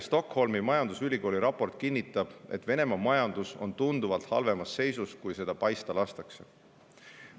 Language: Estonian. Stockholmi majandusülikooli värske raport kinnitab, et Venemaa majandus on tunduvalt halvemas seisus, kui seda paista lastakse.